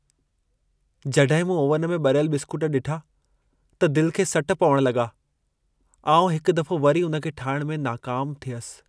जॾहिं मूं ओवन में ॿरियल बिस्कूट ॾिठा त दिलि खे सट पवण लॻा। आउं हिकु दफ़ो वरी उन खे ठाहिण में नाकामु थियसि।